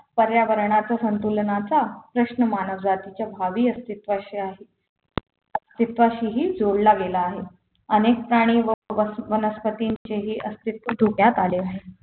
पर्यावरणाचा संतुलनाचा प्रश्न मानव जातीच्या भावी अस्तित्वाशी आहे अस्तित्वाशी हे जोडला गेला आहे अनेक प्राणी व वनस्पतींचेही अस्तित्व धोक्यात आले आहे